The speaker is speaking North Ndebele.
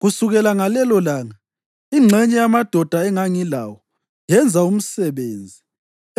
Kusukela ngalelolanga, ingxenye yamadoda engangilawo yenza umsebenzi,